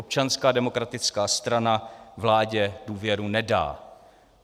Občanská demokratická strana vládě důvěru nedá.